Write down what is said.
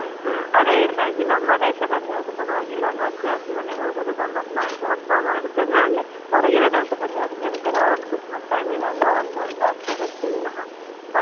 ಹೌದು ಈಗಿನವರಿಗೆ ಅದು ಯಾವ್ದು ಬೇಡಲ್ಲಾ ಹ ಅದೇ ನಮ್ಮ ದೇಶದಲ್ಲಿಯಾದ್ರು ಪರ್ವಾಗಿಲ್ಲಾ ಒಂದು ಅಜ್ಜ ಅಜ್ಜಿ ಮನೆಗೆ ಹೋಗುದು ಗಮ್ಮತ್ ಮಾಡುದು ಹಬ್ಬ ಮಾಡುದೆಲ್ಲಾ ಇದೆ ಹೊರಗಿನ ದೇಶದಲ್ಲಿ ಅವರಿಗೆ ಎಂತ ಇಲ್ಲ Christmas time ಒಂದೊಂದಾಗ್ತದೆ ಅಷ್ಟೇ ವಿನಃ